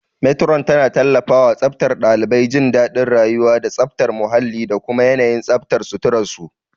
Matron tana tallafawa tsaftar ɗalibai, jin daɗin rayuwa, da tsafta muhalli da kuma yanayin tsaftar suturar su.